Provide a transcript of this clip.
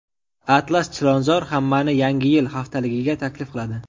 Atlas Chilonzor hammani Yangi yil haftaligiga taklif qiladi!.